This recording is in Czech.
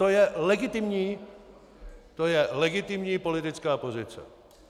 To je legitimní, to je legitimní politická pozice.